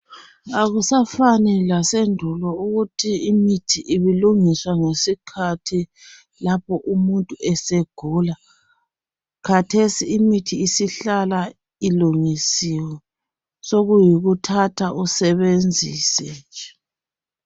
Akusafani lasendul ukuthi imithi ibilungiswa lapho umuntu esegula. Khathesi imithi sihlala ilungisiwe. Sokuyikuthatha usebenzise.